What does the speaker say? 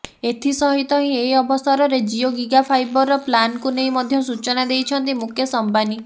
ଏଥି ସହିତ ହିଁ ଏହି ଅବସରରେ ଜିଓ ଗିଗାଫାଇବରର ପ୍ଲାନକୁ ନେଇ ମଧ୍ୟ ସୂଚନା ଦେଇଛନ୍ତି ମୁକେଶ ଅମ୍ବାନୀ